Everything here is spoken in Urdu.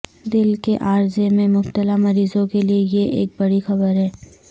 دل کے عارضے میں مبتلا مریضوں کے لیے یہ ایک بڑی خبر ہے